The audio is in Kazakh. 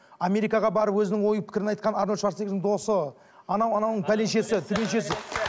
америкаға барып өзінің ой пікірін айтқан арнольд шварцнегрдің досы анау анауының пәленшесі түгеншесі